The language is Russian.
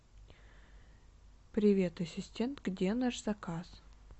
привет ассистент где наш заказ